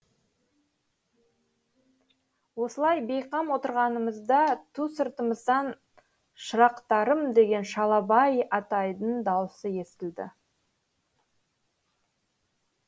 осылай бейқам отырғанымызда ту сыртымыздан шырақтарым деген шалабай атайдың даусы естілді